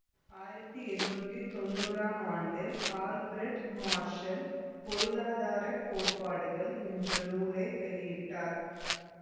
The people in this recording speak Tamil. ஆயிரத்தி எண்ணூற்றி தொன்னூறாம் ஆண்டில் ஆல்பிரடு மார்ஷல் பொருளாதார கோட்பாடுகள் என்ற நூலை வெளியிட்டார்